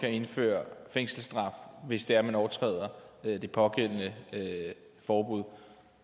kan indføre fængselsstraf hvis det er nogen overtræder det pågældende forbud